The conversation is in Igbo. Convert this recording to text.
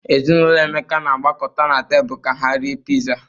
Ezinaụlọ Emeka na-agbakọta na tebụl ka ha rie Piza.